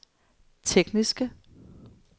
tekniske